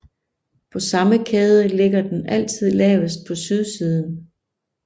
På samme kæde ligger den altid lavest på sydsiden